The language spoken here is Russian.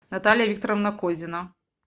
наталья викторовна козина